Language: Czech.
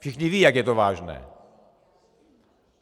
Všichni vědí, jak je to vážné.